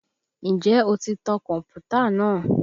Ǹjẹ́ o ti tan kọ̀mpútà náà?